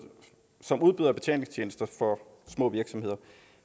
betalingstjenester for små virksomheder